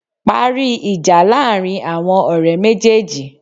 Parí ìjà láàrin àwon òrẹ́ méjéèjì